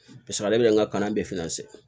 Paseke ale bɛ n ka kalan bɛɛ